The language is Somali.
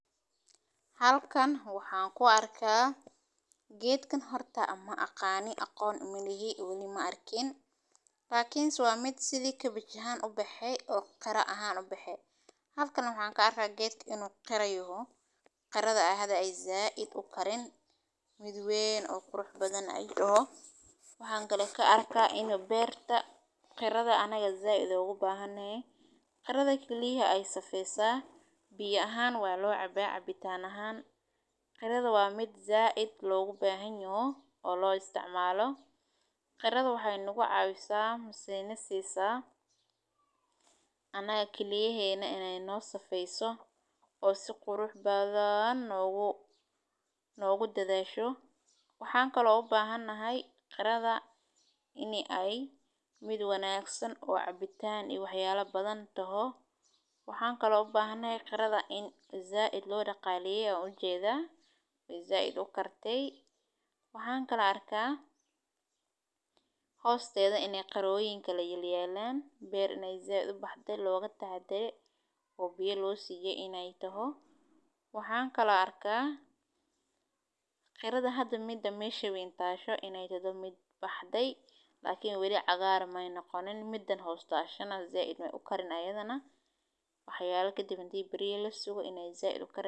Halkan waxaan ku arkaa geedkan horta ama aqaani aqoon imiligi welimo arkiin. Laakiin si waa mid sidii ka baxayaan u baxee oo kharahaan u baxee. Halkan waxaan ka arkaa geddina u qeeray u qarado ahada ay zaah id u karin mid weyn oo qurux badan ay dhaho. Waxaan kale ka arkaa in beerta qarada anaga zaah idoo u baahanee. Qarada keliya ay safeysaa. B ahaan waa loo cabeey cabitaan ahaan. Qarada waa mid zaah id loogu baahan yahay oo loo isticmaalo. Qarada waxay nagu caawisayaa musiyni siisa anaga keliya heyno iney noo safeyso oo si qurux baadaan noogu noogu dadeesho. Waxaan kaloo baahanahay qarada inay ay mid wanaagsan oo cabitaan i waxyaalo badan toh. Waxaan kaloo baahanee qarada in zaah id loo dhaqaaleeyay ujeeda i zaah id oo kartay. Waxaan kala arkaa hosteeda inee qoroyinka la yimaado beer inay zaah u baxday looga taa dare oo bille loo siiyay iney toho. Waxaan kala arkaa qarada hadda mida meesha wayn taasho inay dadweyn mid baxday laakiin weli cagaar ah ma ayeena qoonin midan hostaashana zaah idime u karin ayadana waxyaalke deebantii bari ilaastiga inay zaah u karin.